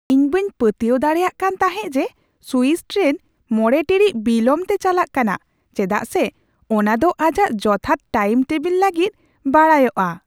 ᱤᱧ ᱵᱟᱹᱧ ᱯᱟᱹᱛᱭᱟᱹᱣ ᱫᱟᱲᱮᱭᱟᱜ ᱠᱟᱱ ᱛᱟᱦᱮᱸᱜ ᱡᱮ ᱥᱩᱭᱤᱥ ᱴᱨᱮᱱ ᱕ ᱴᱤᱲᱤᱡ ᱵᱤᱞᱚᱢ ᱛᱮ ᱪᱟᱞᱟᱜ ᱠᱟᱱᱟ, ᱪᱮᱫᱟᱜ ᱥᱮ ᱚᱱᱟᱫᱚ ᱟᱡᱟᱜ ᱡᱚᱛᱷᱟᱛ ᱴᱟᱭᱤᱢ ᱴᱮᱵᱤᱞ ᱞᱟᱹᱜᱤᱫ ᱵᱟᱰᱟᱭᱟᱚᱜᱼᱟ ᱾